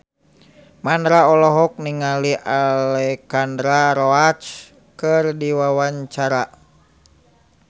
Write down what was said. Mandra olohok ningali Alexandra Roach keur diwawancara